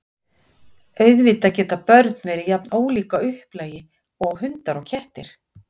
Auðvitað geta börn verið jafn ólík að upplagi og hundar og kettir.